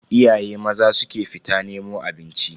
Iyaye maza su ke fita nemo abinci.